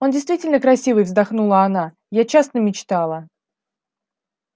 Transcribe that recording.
он действительно красивый вздохнула она я часто мечтала